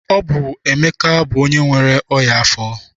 Ọ bụ Emeka bụ onye nwere ọnyá afọ.